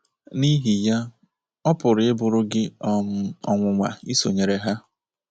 N’ihi ya, ọ pụrụ ịbụrụ gị um ọnwụnwa isonyere ha.